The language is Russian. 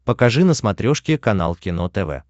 покажи на смотрешке канал кино тв